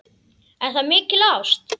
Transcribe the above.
Er það mikil ást?